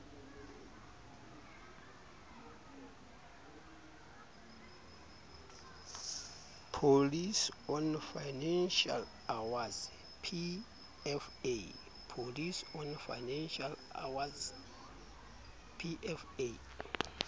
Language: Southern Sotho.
policy on financial awards pfa